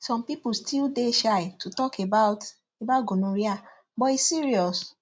some people still dey shy to talk about about gonorrhea but e serious